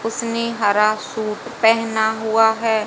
उसने हरा सूट पेहना हुआ है।